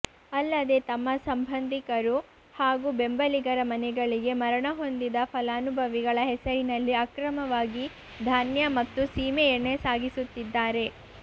ಅಲ್ಲದೆ ತಮ್ಮ ಸಂಬಂಧಿಕರು ಹಾಗೂ ಬೆಂಬಲಿಗರ ಮನೆಗಳಿಗೆ ಮರಣ ಹೊಂದಿದ ಫಲಾನುಭವಿಗಳ ಹೆಸರಿನಲ್ಲಿ ಅಕ್ರಮವಾಗಿ ಧಾನ್ಯ ಮತ್ತು ಸೀಮೆಎಣ್ಣೆ ಸಾಗಿಸುತ್ತಿದ್ದಾರೆ